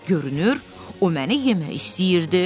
Görünür, o məni yemək istəyirdi.